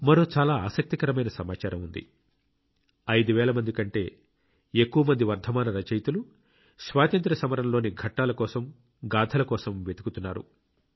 మరో చాలా ఆసక్తికరమైన సమాచారం ఉంది 5000 కంటే ఎక్కువ మంది వర్ధమాన రచయితలు స్వాతంత్ర్య సమరం లోని ఘట్టాల కోసం గాథల కోసం వెతుకుతున్నారు